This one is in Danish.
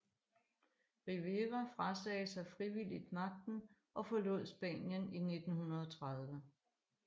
Rivera frasagde sig frivilligt magten og forlod Spanien i 1930